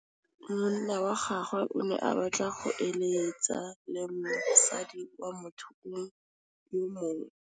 Monna wa gagwe o ne a batla go êlêtsa le mosadi wa motho yo mongwe.